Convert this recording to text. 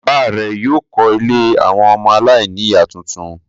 Bàbá rẹ̀ yóò kọ́ ilé àwọn ọmọ aláìníìyá tuntun.